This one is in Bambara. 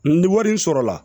Ni wari sɔrɔla